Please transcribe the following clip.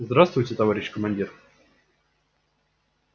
здравствуйте товарищ командир